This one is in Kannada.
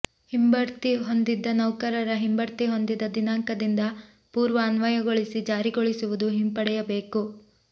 ಹಿಂಬಡ್ತಿ ಹೊಂದಿದ ನೌಕರರ ಹಿಂಬಡ್ತಿ ಹೊಂದಿದ ದಿನಾಂಕದಿಂದ ಪೂರ್ವ ಅನ್ವಯಗೊಳಿಸಿ ಜಾರಿಗೊಳಿಸುವುದು ಹಿಂಪಡೆಯಬೇಕು